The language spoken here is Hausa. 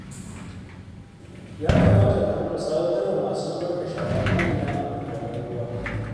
Ya kamata mu haɗu mu tsawatar wa masu zubar da shara ko'ina a magudanan ruwa